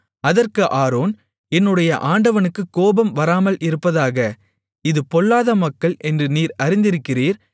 அதற்கு ஆரோன் என்னுடைய ஆண்டவனுக்குக் கோபம் வராமல் இருப்பதாக இது பொல்லாத மக்கள் என்று நீர் அறிந்திருக்கிறீர்